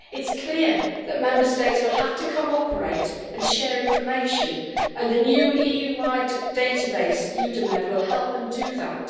It is clear that Member States will have to cooperate and share information, and the new EU wide database EUDAMED will help them do that.